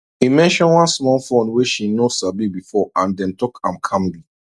e mention one small fund way she no sabi before and dem talk am calmly